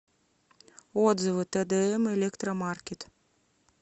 отзывы тэдээм электромаркет